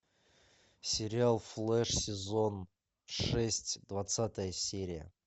сериал флэш сезон шесть двадцатая серия